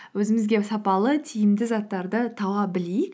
өзімізге сапалы тиімді заттарды таба білейік